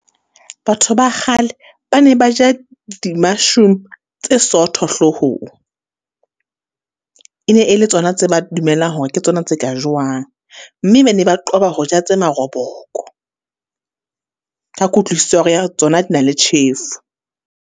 Batho ba kgale ba ne ba ja di tse sootho hlohong, e ne e le tsona tse ba dumelang hore ke tsona tse ka jowang, mme ba ne ba qoba ho ja tse maroboko. Ka kutlwisiso ya tsona di na le tjhefo.